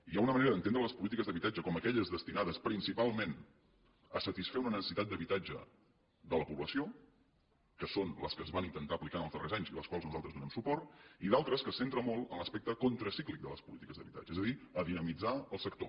hi ha una manera d’entendre les polítiques d’habitatge com aquelles destinades principalment a satisfer una necessitat d’habitatge de la població que són les que es van intentar aplicar en els darrers anys i a les quals nosaltres donem suport i d’altres que es centren molt en l’aspecte contracíclic de les polítiques d’habitatge és a dir a dinamitzar el sector